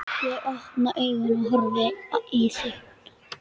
Ég opna augun og horfi í þín.